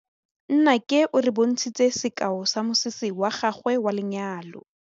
Nnake o re bontshitse sekaô sa mosese wa gagwe wa lenyalo.